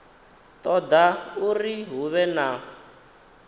toda uri hu vhe na